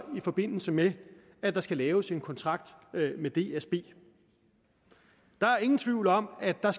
i forbindelse med at der skal laves en kontrakt med dsb der er ingen tvivl om at der